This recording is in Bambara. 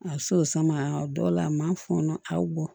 A bɛ se o sama a dɔw la a ma fɔnɔ aw bɔ